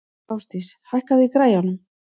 Ásdís, hækkaðu í græjunum.